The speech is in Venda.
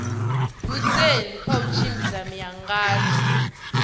goosen kha u tshimbidza miangano